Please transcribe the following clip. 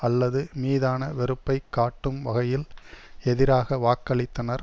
அல்லது மீதான வெறுப்பை காட்டும் வகையில் எதிராக வாக்களித்தனர்